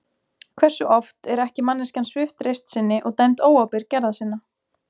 Hversu oft er ekki manneskjan svipt reisn sinni og dæmd óábyrg gerða sinna?